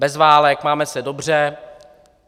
Bez válek, máme se dobře.